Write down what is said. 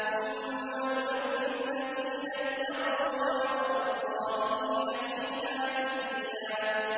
ثُمَّ نُنَجِّي الَّذِينَ اتَّقَوا وَّنَذَرُ الظَّالِمِينَ فِيهَا جِثِيًّا